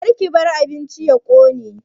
Karki bar abincin ya ƙone